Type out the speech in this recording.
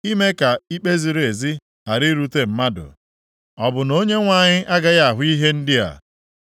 ime ka ikpe ziri ezi ghara irute mmadụ. Ọ bụ na Onyenwe anyị agaghị ahụ ihe ndị a?